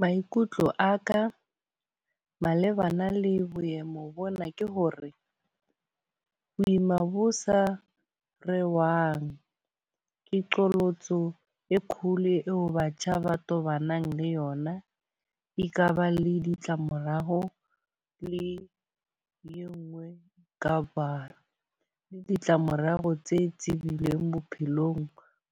Maikutlo a ka malebana le boemo bona ke hore, ho ima bo sa rerwang ke qholotso e kgolo eo batjha ba tobanang le yona. E ka ba le ditlamorao le e nngwe ka ba le ditlamorao tse tibileng bophelong